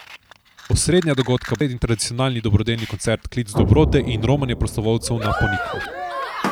Osrednja dogodka bosta sredin tradicionalni dobrodelni koncert Klic dobrote in romanje prostovoljcev na Ponikvo.